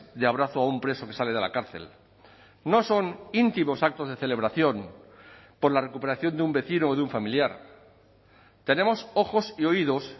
de abrazo a un preso que sale de la cárcel no son íntimos actos de celebración por la recuperación de un vecino o de un familiar tenemos ojos y oídos